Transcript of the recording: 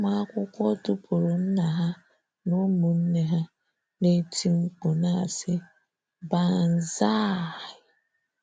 Ụmụ akwụkwọ dupuru nna ha na ụmụnne ha, na-eti mkpu na-asi; banzai!.